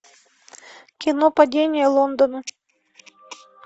кино падение лондона